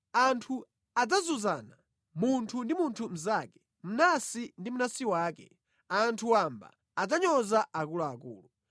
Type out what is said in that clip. Anthu adzazunzana, munthu ndi munthu mnzake, mnansi ndi mnansi wake. Anthu wamba adzanyoza akuluakulu.